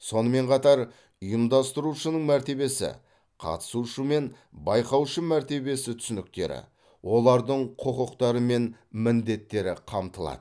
сонымен қатар ұйымдастырушының мәртебесі қатысушы мен байқаушы мәртебесі түсініктері олардың құқықтары мен міндеттері қамтылады